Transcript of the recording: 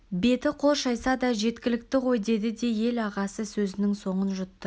беті-қол шайса да жеткілікті ғой деді де ел ағасы сөзінің соңын жұтты